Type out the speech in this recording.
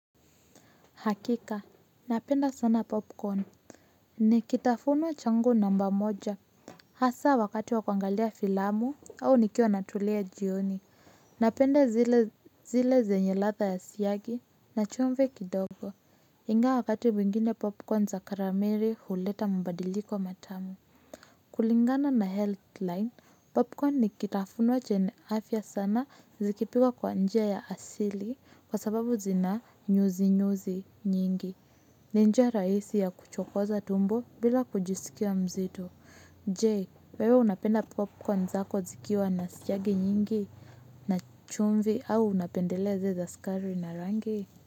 Hakika, napenda sana popcorn, ni kitafuno changu namba moja. Hasa wakati wa kuangalia filamu au nikiwa natulia jioni napenda zile zile zenye ladha ya siyagi na chumvi kidogo. Ingawa wakati mwingine popcorn za karameli huleta mabadiliko matamu. Kulingana na health line, popcorn ni kitafunwa chenye afya sana zikipikwa kwa njia ya asili kwa sababu zina nyuzinyuzi nyingi. Ni njia rahisi ya kuchokoza tumbo bila kujiskia mzito. Je, wewe unapenda popcorn zako zikiwa na siyagi nyingi na chumvi au unapendelea zile za sukari na rangi?